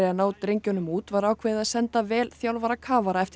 að ná drengjunum út var ákveðið að senda vel þjálfaða kafara eftir